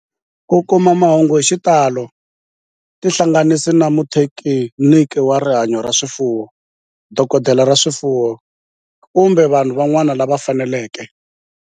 Ku kuma mahungu hi xitalo tihlanganisi na muthekiniki wa rihanyo ra swifuwo, dokodela ya swifuwo, kumbe vanhu van'wana lava fanelekeke